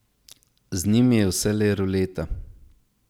Z njimi je vselej ruleta.